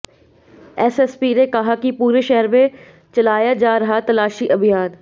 SSP ने कहा कि पूरे शहर में चलाया जा रहा तलाशी अभियान